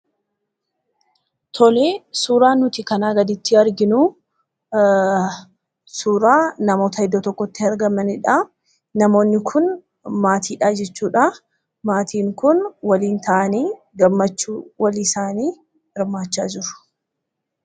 Tole! Suuraan nuti kanaa gaditti arginu, suuraa namoota iddoo tokkotti argamaniidha. Namoonni kun maatiidha jechuudha. Maatiin kun waliin ta'anii gammachuu walii isaanii hirmaachaa jiru.